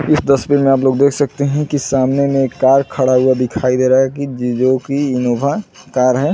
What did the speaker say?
इस तस्वीर में आप लोग देख सकते हैं कि सामने में एक कार खड़ा हुआ दिखाई दे रहा है की जो की इनोवा कार है।